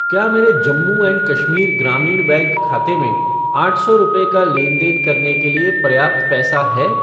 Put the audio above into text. क्या मेरे जम्मू एंड कश्मीर ग्रामीण बैंक खाते में आठ सौ रुपये का लेनदेन करने के लिए पर्याप्त पैसा है?